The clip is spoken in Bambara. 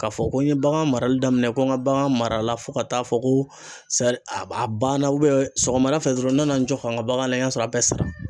K'a fɔ ko n ye bagan marali daminɛ ko n ka bagan mara la fo ka taa fɔ ko a banna sɔgɔmada fɛ dɔrɔn n nana n jɔ ka n ka bagan lajɛ, n y'a sɔrɔ a bɛɛ sara